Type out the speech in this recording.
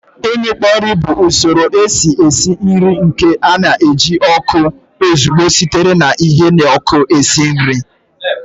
Imikpo nri bụ usoro esi esi nri nke na-eji ọkụ ozugbo sitere na ihe n'ọkụ esi nri